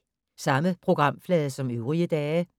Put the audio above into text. Samme programflade som øvrige dage